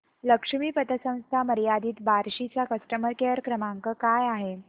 लक्ष्मी पतसंस्था मर्यादित बार्शी चा कस्टमर केअर क्रमांक काय आहे